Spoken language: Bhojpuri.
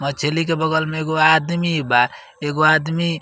मछली के बगल में एगो आदमी बा। एगो आदमी --